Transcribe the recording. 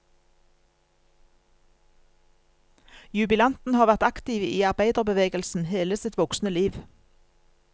Jubilanten har vært aktiv i arbeiderbevegelsen hele sitt voksne liv.